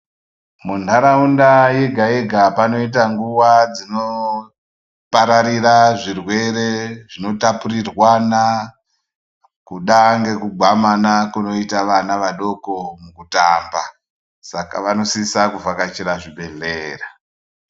Munharaunda yega yega panoita nguwa dzinopararira zvirwere zvinotapurirwana, kuda ngekugwamana kunoita wana wadoko mukutamba, saka wanosisa kuvhakachira zvibhehleya.